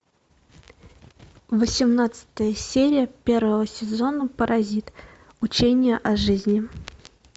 восемнадцатая серия первого сезона паразит учение о жизни